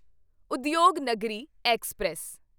Udyog Nagari express